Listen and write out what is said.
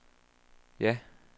ja